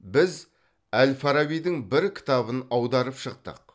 біз әл фарабидің бір кітабын аударып шықтық